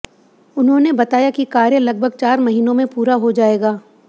उन्होंने बताया कि कार्य लगभग चार महिनों में पूरा हो जाएगा